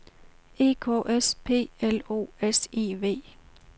E K S P L O S I V